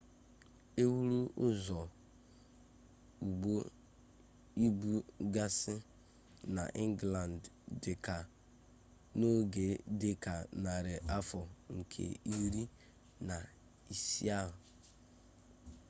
e wuru ụzọ ụgbọ ibu gasị n'ingland dị ka n'oge dị ka narị afọ nke iri na isii ahụ